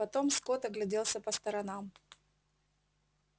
потом скотт огляделся по сторонам